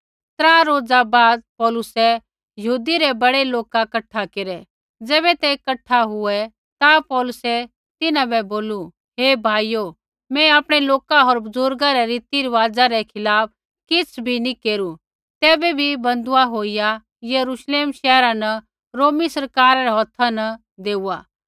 त्रा रोज़ा बाद पौलुसै यहूदी रै बड़ै लोका कठा केरै ज़ैबै ते कठा हुऐ ता पौलुसै तिन्हां बै बोलू हे भाइयो मैं आपणै लोका होर बुज़ुर्गा रै रीतिरुआज़ा रै खिलाफ़ किछ़ भी नी केरू तैबै भी बन्धुआ होईया यरूश्लेम शैहरा न रोमी सरकारा रै हौथा न देऊआ